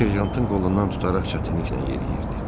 O serjantın qolundan tutaraq çətinliklə yeriyirdi.